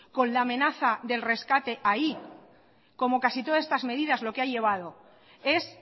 con la amenaza del rescate ahí como casi todas estas medidas lo que ha llevado es